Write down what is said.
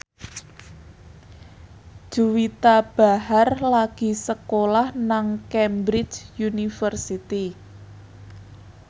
Juwita Bahar lagi sekolah nang Cambridge University